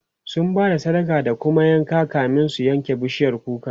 sun Bada sadaka da kuma yanka kamin su yanka bishiyar kukar